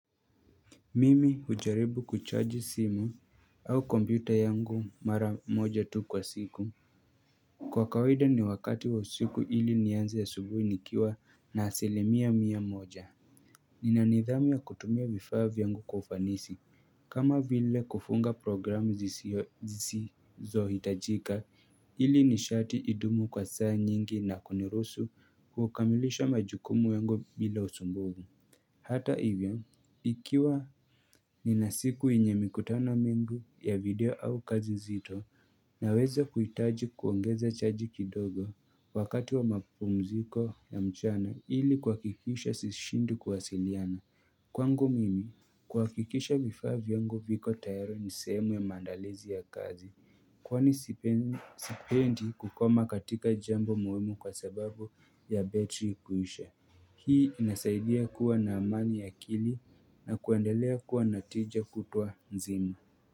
Mimi hujaribu kuchaji simu au kompyuta yangu mara moja tu kwa siku Kwa kawaida ni wakati wa usiku ili nianze asubuhi nikiwa na asilimia mia moja Nina nidhamu ya kutumia vifaa vya yangu kwa ufanisi kama vile kufunga programu zisizohitajika ili nishati idumu kwa saa nyingi na kuniruhusu kukamilisha majukumu yangu bila usumbufu Hata hivyo ikiwa Nina siku yenye mikutano mingi ya video au kazi zito naweza kuhitaji kuongeza chaji kidogo wakati wa makupumziko ya mchana ili kuhakikisha sishindi kuwasiliana. Kwangu mimi, kuhakikisha vifaa vyangu viko tayari nisehemu ya maandalizi ya kazi kwani sipendi kukoma katika jambo muhimu kwa sababu ya betri kuisha. Hii inasaidia kuwa na amani ya akili na kuendelea kuwa na tija kutwa nzima.